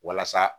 Walasa